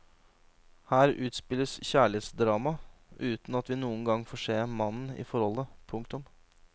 Her utspilles kjærlighetsdramaet uten at vi noen gang får se mannen i forholdet. punktum